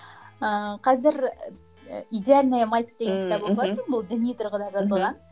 ыыы қазір идеальная мать деген кітап оқыватырмын бұл діни тұрғыда жазылған